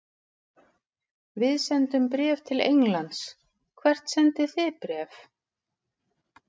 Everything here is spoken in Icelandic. Við sendum bréf til Englands. Hvert sendið þið bréf?